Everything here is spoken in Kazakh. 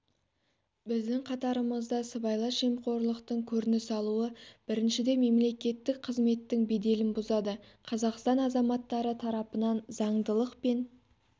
біздің қатарымызда сыбайлас жемқорлықтың көрініс алуы біріншіден мемлекеттік қызметтің беделін бұзады қазақстан азаматтары тарапынан заңдылық пен